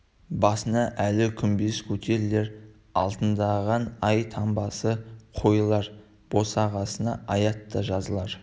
басына әлі күмбез көтерілер алтындаған ай таңбасы қойылар босағасына аят та жазылар